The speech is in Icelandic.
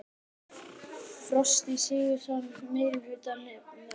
Frosti Sigurjónsson: Meirihluta nefndarinnar?